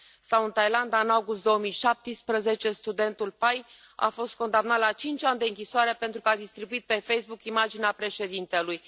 Sau, în Thailanda, în august 2017, studentul Pai a fost condamnat la cinci ani de închisoare pentru că a distribuit pe Facebook imaginea președintelui.